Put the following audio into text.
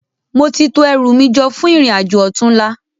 Móti tó èrú mi jò fún irin ájó òtúnlá